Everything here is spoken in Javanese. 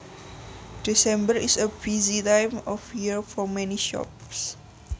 December is a busy time of year for many shops